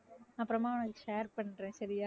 அப்புறமா share பண்றேன் சரியா?